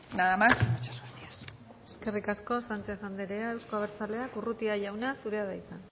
nada más muchas gracias eskerrik asko sánchez andrea euzko abertzaleak urrutia jauna zurea da hitza